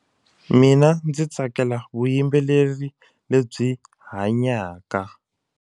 Mina ndzi tsakela vuyimbeleri lebyi hanyaka.